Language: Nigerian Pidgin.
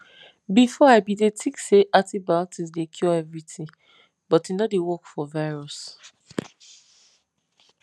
before i bin dey think say antibiotics dey cure everything but e no dey work for virus